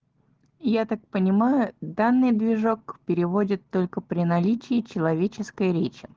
я так понимаю данный движок переводит только при наличии человеческой речи